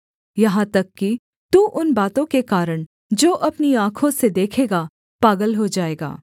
यहाँ तक कि तू उन बातों के कारण जो अपनी आँखों से देखेगा पागल हो जाएगा